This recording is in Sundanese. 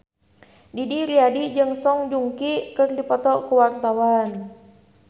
Didi Riyadi jeung Song Joong Ki keur dipoto ku wartawan